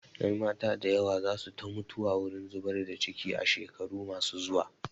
Ƴanmata da yawa za su ta mutuwa wurin zubar da ciki a shekaru ma su zuwa